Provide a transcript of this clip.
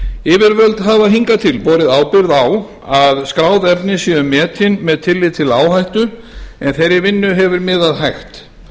yfirvöld hafa hingað til borið ábyrgð á að skráð efni séu metin með tilliti til áhættu en þeirri vinnu hefur miðað hægt